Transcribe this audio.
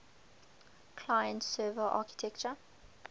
client server architecture